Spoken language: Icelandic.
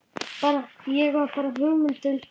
Ég bar hugmynd undir